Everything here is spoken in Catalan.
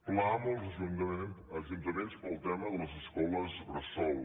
pla amb els ajuntaments per al tema de les escoles bressol